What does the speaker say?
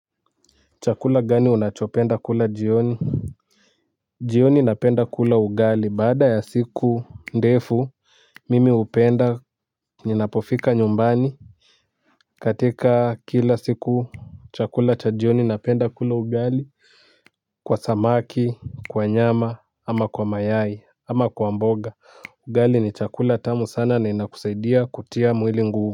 Chakula gani unachopenda kula jioni. Jioni napenda kula ugali baada ya siku ndefu mimi hupenda ninapofika nyumbani. Katika kila siku chakula cha jioni napenda kula ugali. Kwa samaki kwa nyama ama kwa mayai ama kwa mboga ugali ni chakula tamu sana na inakusaidia kutia mwili nguvu.